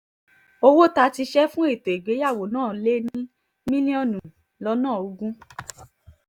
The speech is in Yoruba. owó tá a ti ṣe fún ètò ìgbéyàwó náà ti lé ní mílíọ̀nù lọ́nà ogún